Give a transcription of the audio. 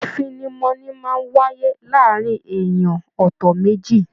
ifinimọni máa n wáyé láàrín ènìyàn ọtọ méjì.